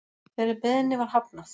Þeirri beiðni var hafnað